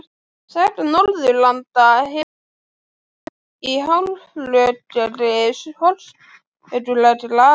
Saga Norðurlanda hefst í hálfrökkri forsögulegrar aldar.